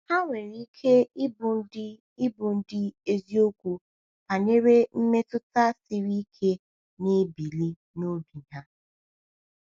Ha nwere ike ịbụ ndị ịbụ ndị eziokwu banyere mmetụta siri ike na-ebili n’obi ha.